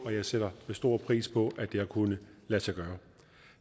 og jeg sætter stor pris på at det har kunnet lade sig gøre